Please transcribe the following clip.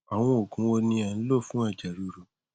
àwọn òògùn wo ni ẹ ń lò fún ẹjẹ ríru